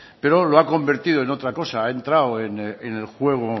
pero lo ha convertido en otra cosa ha entrado en el juego